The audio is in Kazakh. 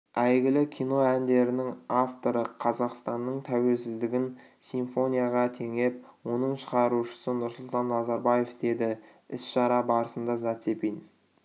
әйгілі кино әндерінің авторы қазақстанның тәуелсіздігін симфонияға теңеп оның шығарушысы нұрсұлтан назарбаев деді іс-шара барысында зацепин